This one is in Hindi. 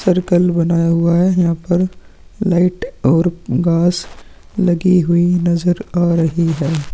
सर्कल बनाया हुआ है यहाँ पर लाइट और घास लगी हुई नजर आ रही हैं।